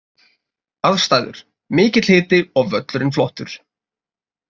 Aðstæður: Mikill hiti og völlurinn flottur.